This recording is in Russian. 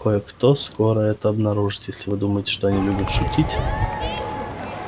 кое-кто скоро это обнаружит и если вы думаете что они любят шутить